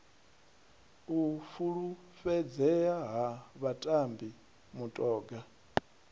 u fulufhedzea ha vhatambi mutoga